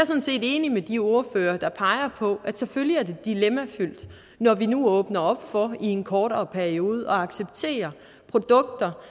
sådan set enig med de ordførere der peger på at det selvfølgelig er dilemmafyldt når vi nu åbner op for i en kortere periode at acceptere produkter